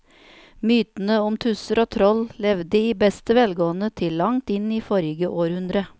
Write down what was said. Mytene om tusser og troll levde i beste velgående til langt inn i forrige århundre.